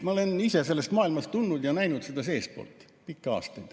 Ma olen ise sellest maailmast tulnud ja näinud seda pikki aastaid seestpoolt.